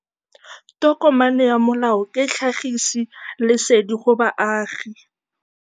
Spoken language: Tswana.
Tokomane ya molao ke tlhagisi lesedi go baagi.